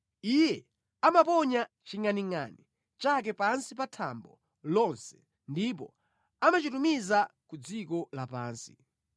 Iye amaponya chingʼaningʼani chake pansi pa thambo lonse ndipo amachitumiza ku dziko lapansi.